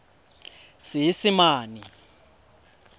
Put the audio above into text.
seesimane